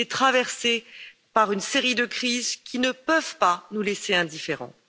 Il est traversé par une série de crises qui ne peuvent pas nous laisser indifférents.